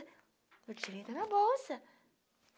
O dinherinho está na bolsa